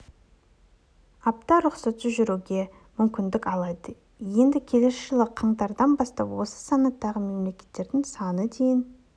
апта рұқсатсыз жүруге мүмкіндік алды енді келесі жылы қаңтардың бастап осы санаттағы мемлекеттердің саны дейін